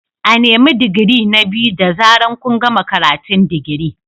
A nemi digiri na biyu da zaran kun gama karatun digiri.